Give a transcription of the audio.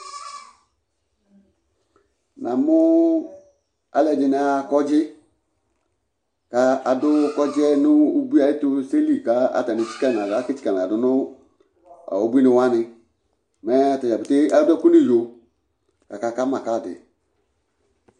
Namʋ alʋɛdɩnɩ aɣa kɔdzɩ kʋ adʋ kɔdzɩ yɛ nʋ ubui ayʋ ɛtʋse li kʋ atanɩ etsikǝ nʋ aɣla aketsikǝ nʋ aɣla dʋ nʋ ubuinɩ wanɩ Mɛ ata dza petee adʋ ɛkʋ nʋ iyo kʋ akaka ma kadɩ